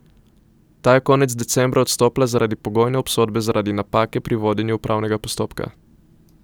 Ta je konec decembra odstopila zaradi pogojne obsodbe zaradi napake pri vodenju upravnega postopka.